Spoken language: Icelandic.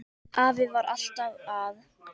Afi var alltaf að.